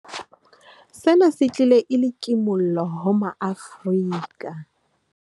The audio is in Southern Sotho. Sena se tlile e le kimollo ho maAfrika